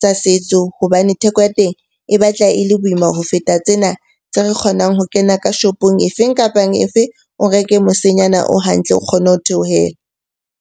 tsa setso. Hobane theko ya teng e batla e le boima ho feta tsena tse re kgonang ho kena ka shopong e feng, kapa e feng. O reke mosenyana o hantle o kgone ho theohela.